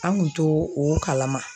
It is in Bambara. An kun t'o o kalama.